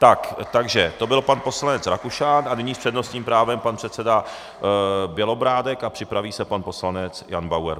Takže to byl pan poslanec Rakušan a nyní s přednostním právem pan předseda Bělobrádek a připraví se pan poslanec Jan Bauer.